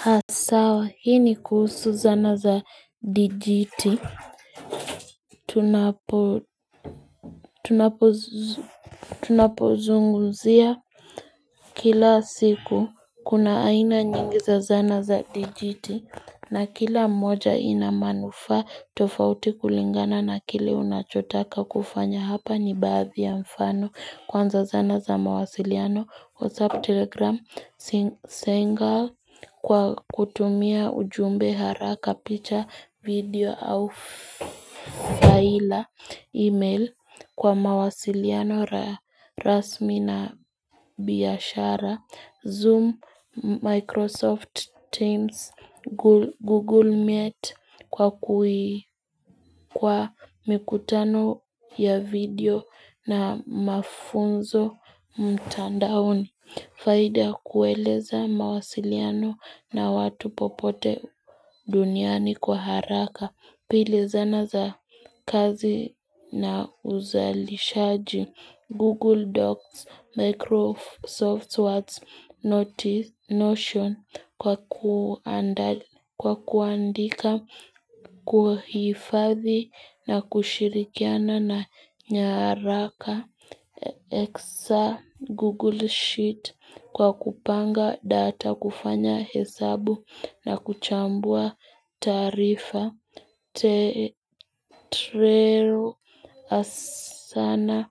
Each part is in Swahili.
Haa sawa hii ni kuhusu zana za dijiti Tunapozunguzia kila siku kuna aina nyingi za zana za dijiti na kila moja ina manufaa tofauti kulingana na kile unachotaka kufanya hapa ni baadhi ya mfano kwanza zana za mawasiliano WhatsApp, Telegram, zenga kwa kutumia ujumbe haraka picha, video au faila email kwa mawasiliano rasmi na biashara Zoom, Microsoft Teams, Google Meet kwa mikutano ya video na mafunzo mtandaoni Faida kueleza mawasiliano na watu popote duniani kwa haraka, pili zana za kazi na uzalishaji, Google Docs, Microsoft Word, Notion kwa kuandika, kuhifadhi na kushirikiana na nyaraka. Excel, google sheet, kwa kupanga data, kufanya hesabu na kuchambua tarifa te treo asana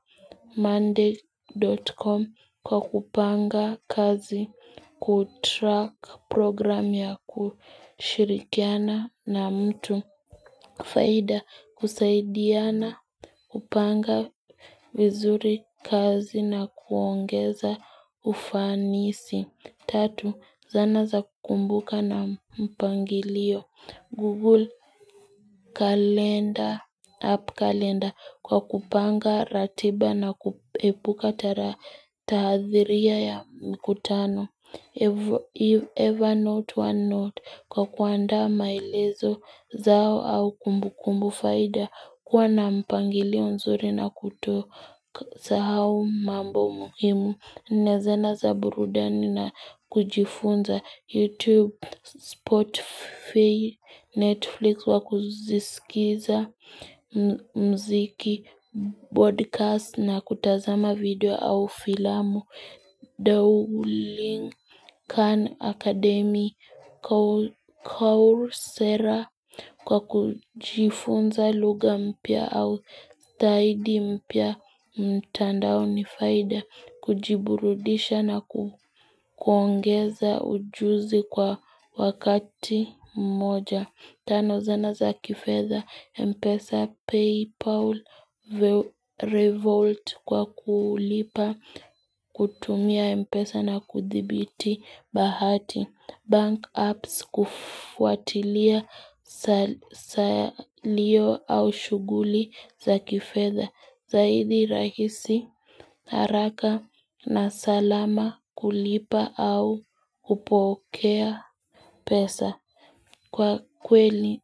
monday.com kwa kupanga kazi kutrack program ya kushirikiana na mtu Faida kusaidia na kupanga vizuri kazi na kuongeza ufanisi. Tatu, zana za kumbuka na mpangilio Google app kalenda kwa kupanga ratiba na kupuka tahadhiria ya mkutano If ever not, one not kwa kuanda mailezo zao au kumbukumbu faida kuwa na mpangilio nzuri na kuto sahau mambo muhimu na zana za burudani na kujifunza YouTube, Spotify, Netflix wa kuzisikiza mziki, podcast na kutazama video au filamu. Duolingo Akademi Kauru sera kwa kujifunza lugha mpya au taidi mpya mtanda au nifaida kujiburudisha na kuongeza ujuzi kwa wakati mmoja. Tano, zana za kifedha, Mpesa, Paypal, Revolt kwa kulipa, kutumia Mpesa na kuthibiti bahati, Bank Apps kufuatilia salio au shuguli za kifedha. Zaidi rahisi haraka na salama kulipa au kupokea pesa kwa kweli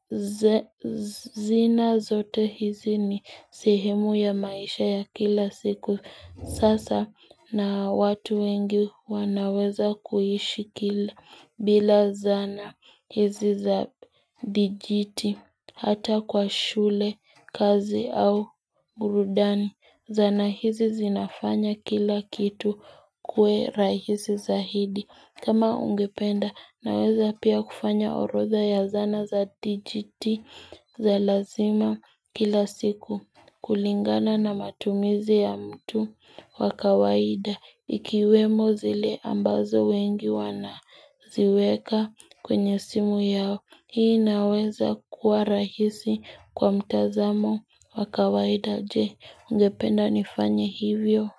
zina zote hizi ni sihemu ya maisha ya kila siku. Sasa na watu wengi wanaweza kuishi kila bila zana hizi za dijiti hata kwa shule, kazi au burudani. Zana hizi zinafanya kila kitu kue rahizi zaidi. Kama ungependa naweza pia kufanya orodha ya zana za dijiti za lazima kila siku kulingana na matumizi ya mtu wa kawaida ikiwemo zile ambazo wengi wana ziweka kwenye simu yao. Hii inaweza kuwa rahisi kwa mtazamo wa kawaida je ungependa nifanya hivyo.